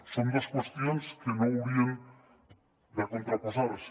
són dos qüestions que no haurien de contraposar se